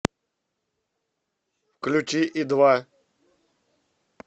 включи и два